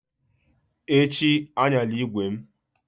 Echi, ayanla ígwè m!